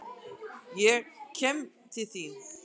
Kem til þín.